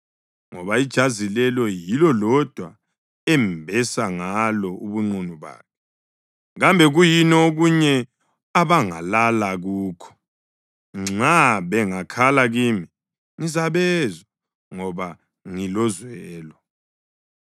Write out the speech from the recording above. ngoba ijazi lelo yilo lodwa embesa ngalo ubunqunu bakhe. Kambe kuyini okunye abangalala kukho? Nxa bengakhala kimi, ngizabezwa ngoba ngilozwelo.